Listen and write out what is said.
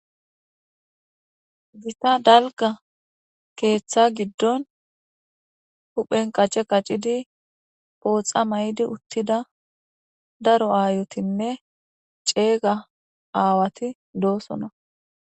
gisa dalga keeththa giddon huphen qace qaccidi pooxa may7di uttida daro aayotinne ceega aawati doosona